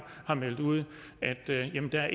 meldt ud at der ikke er